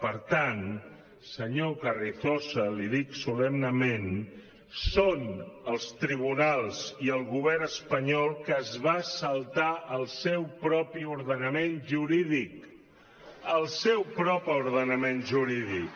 per tant senyor carrizosa l’hi dic solemnement són els tribunals i el govern espanyol qui es va saltar el seu propi ordenament jurídic el seu propi ordenament jurídic